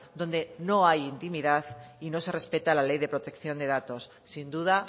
donde no hay intimidad y no se respeta la ley de protección de datos sin duda